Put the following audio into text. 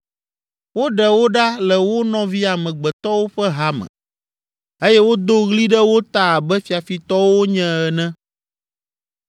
Woɖe wo ɖa le wo nɔvi amegbetɔwo ƒe ha me eye wodo ɣli ɖe wo ta abe fiafitɔwo wonye ene.